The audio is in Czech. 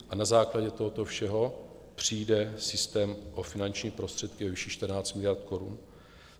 A na základě tohoto všeho přijde systém o finanční prostředky ve výši 14 miliard korun?